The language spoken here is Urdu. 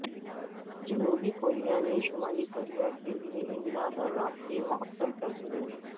جنوبی کوریا نے شمالی کوریا کے لیے امداد اور رابطے معطل کر دیے